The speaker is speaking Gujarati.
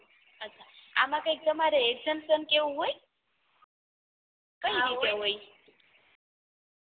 આમાં કઇ તમારે examination કે આવું કઈ હોય